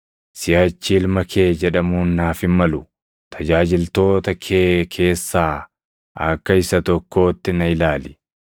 Siʼachi ilma kee jedhamuun naaf hin malu; tajaajiltoota kee keessaa akka isa tokkootti na ilaali.” ’